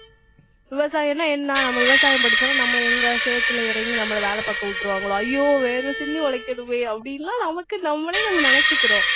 விவசாயம்னா என்ன நம்ம விவசாயம் படிச்சாலும் நம்ம எங்க சேத்துல இறங்கி நம்மளை வேலை பார்க்க விட்டுருவாங்களோ ஐயோ வேர்வை சிந்தி உழைக்கணுமே அப்படின்னுலாம் நமக்கு நம்மளே நம்ம நினைச்சுக்கறோம்